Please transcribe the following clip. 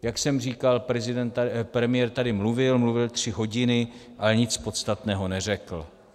Jak jsem říkal, premiér tady mluvil, mluvil tři hodiny, ale nic podstatného neřekl.